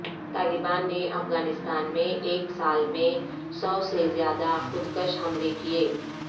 طالبان نے افغانستان میں ایک سال میں سو سے زیادہ خود کش حملے کیے